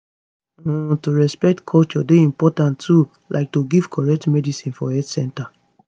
um to respect culture dey important too like to give correct medicines for health centers